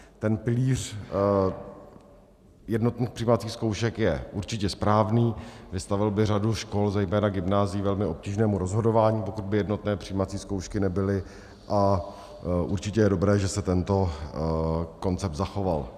Ten pilíř jednotných přijímacích zkoušek je určitě správný, vystavil by řadu škol zejména gymnázií velmi obtížnému rozhodování, pokud by jednotné přijímací zkoušky nebyly, a určitě je dobré, že se tento koncept zachoval.